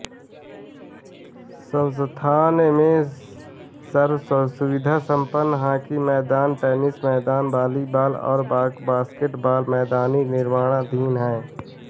संस्थान में सर्वसुविधा सम्पन्न हाॅकी मैदान टेनिस मैदान वाॅलीबाॅल और बास्केट बाॅल मैदान निर्माणाधीन हैं